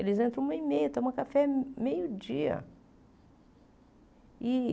Eles entram uma e meia, tomam café meio dia e.